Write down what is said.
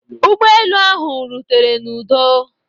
ụgbọ elu ahụ rutere n'udo